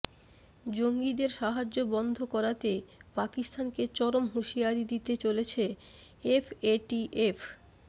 জঙ্গিদের সাহায্য বন্ধ করাতে পাকিস্তানকে চরম হুঁশিয়ারি দিতে চলেছে এফএটিএফ